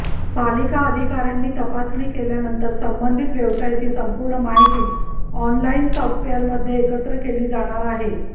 पालिका अधिकाऱ्यांनी तपासणी केल्यानंतर संबंधित व्यवसायाची संपूर्ण माहिती ऑनलाइन सॉफ्टवेअरमध्ये एकत्र केली जाणार आहे